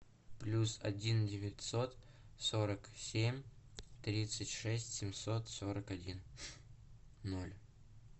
плюс один девятьсот сорок семь тридцать шесть семьсот сорок один ноль